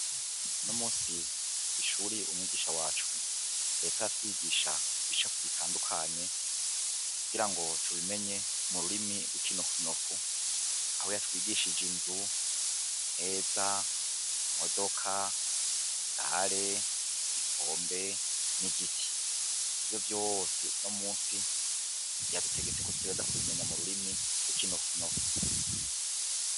Unomunsi mw'ishuri umwigisha wacu yariko aratwigisha igicapo gitandukanye kugirango tubimenye mu rurimi gw'ikinofunofu, aho yatwigishije inzu, imeza, imodoka, ikinga, igikombe n'igiti. Ivyo vyose unomunsi yadutegetseko dutegerezwa kubimenya mu rurimi gw'ikinofunofu.